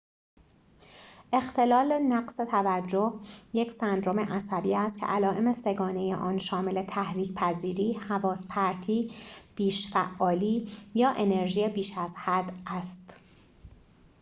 اختلال نقص توجه یک سندرم عصبی است که علائم سه گانه آن شامل تحریک پذیری حواس پرتی بیش فعالی یا انرژی بیش از حد است